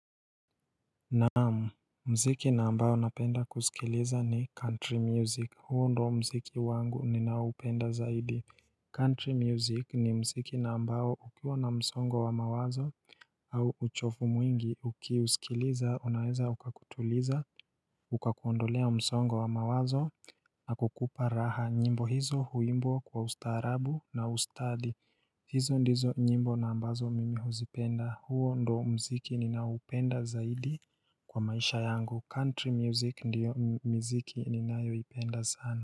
Naam, mziki na ambayo napenda kusikiliza ni country music, huo ndo mziki wangu nina upenda zaidi Country music ni mziki na ambayo ukiwa na msongo wa mawazo au uchovu mwingi ukiusikiliza unaweza ukakutuliza, ukakuondolea msongo wa mawazo na kukupa raha, nyimbo hizo huimbwa kwa ustaarabu na ustadi hizo ndizo nyimbo na ambazo mimi huzipenda, huo ndo mziki ninaupenda zaidi kwa maisha yangu, country music ndiyo miziki ninayo ipenda sana.